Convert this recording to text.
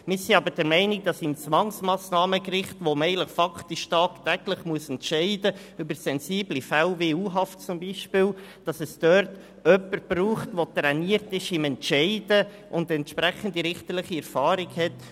Wir sind jedoch der Meinung, am Zwangsmassnahmengericht, wo man faktisch tagtäglich über sensible Fälle wie Untersuchungshaft entscheiden muss, brauche es jemanden, der trainiert ist zu entscheiden und die entsprechende richterliche Erfahrung hat.